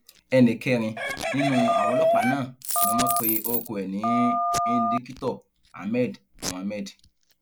ẹnì kẹrin nínú àwọn ọlọpàá náà ni wọn pe orúkọ ẹ ní indikítọ ahmed mohammed